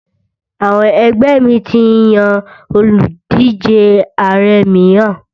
Àwọn ẹgbẹ́ mi ti yan òlùdíje Ààrẹ mìíràn.